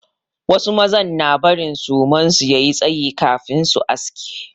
Wasu maza na barin suman su ya yi tsayi kafin su aske.